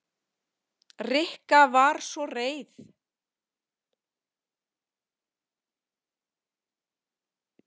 Rikka var svo reið.